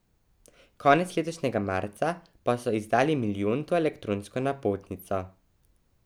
Konec letošnjega marca pa so izdali milijonto elektronsko napotnico.